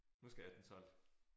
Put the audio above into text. Nu skal jeg have den solgt